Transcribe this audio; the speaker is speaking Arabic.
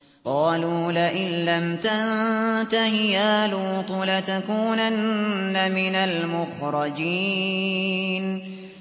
قَالُوا لَئِن لَّمْ تَنتَهِ يَا لُوطُ لَتَكُونَنَّ مِنَ الْمُخْرَجِينَ